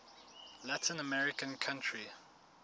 latin american country